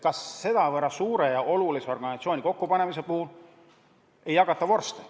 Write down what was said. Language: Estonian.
Kas nii suure ja olulise organisatsiooni kokkupanemise puhul ei jagata vorste?